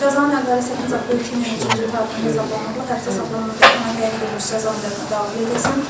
Cəzanın əvvəli 18 oktyabr 2022-ci il tarixində hesablanmaqla, həbsdə saxlanmaqla ona təyin edilmiş cəza müddətinə daxil edilsin.